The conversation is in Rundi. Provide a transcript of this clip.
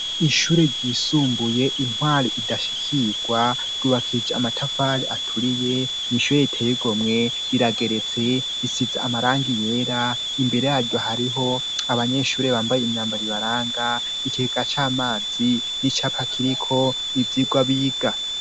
Ishure ryisumbuye intwari idashishikirwa ryubakije amatafari aturiye n'ishure riteye igomwe rirageretse risize amarangi yera imbere yaryo hariho abanyeshuri bambaye imyambaro ibaranga ikigega c'amazi n'icapa kiriko ivyigwa biga.